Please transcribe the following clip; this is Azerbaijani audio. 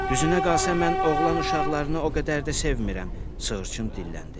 Düzünə qalsa mən oğlan uşaqlarını o qədər də sevmirəm, sığırçın dilləndi.